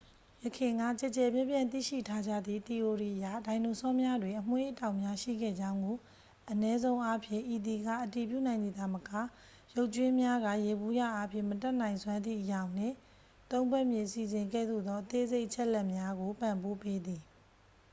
ယခင်က ကျယ်ကျယ်ပြန့်ပြန့် သိရှိထားကြသည့် သီအိုရီအရ ဒိုင်နိုဆောများတွင် အမွေးအတောင်များရှိခဲ့ကြောင်းကို အနည်းဆုံးအားဖြင့် ဤသည်က အတည်ပြုနိုင်သည်သာမက ရုပ်ကြွင်းများက ယေဘုယျအားဖြင့် မတတ်နိုင်စွမ်းသည့် အရောင်နှင့် သုံးဖက်မြင်အစီအစဉ်ကဲ့သို့သော အသေးစိတ်အချက်အလက်များကို ပံ့ပိုးပေးသည်